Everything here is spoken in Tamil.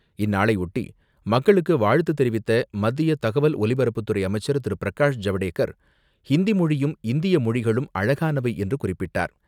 இந்நாளையொட்டி, மக்களுக்கு வாழ்த்து தெரிவித்த மத்திய தகவல் ஒலிபரப்புத்துறை அமைச்சர் திரு.பிரகாஷ் ஜவ்டேகர், ஹிந்தி மொழியும், இந்திய மொழிகளும் அழகானவை என்று குறிப்பிட்டார்.